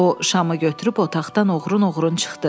O şamı götürüb otaqdan oğrun-oğrun çıxdı.